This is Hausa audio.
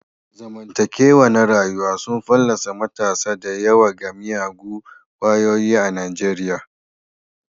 Zamantakewa na rayuwa sun fallasa matasa da yawa ga miyagun kwayoyi a Nijeriya.